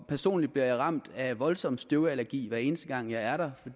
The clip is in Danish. personligt bliver jeg ramt af voldsom støvallergi hver eneste gang jeg er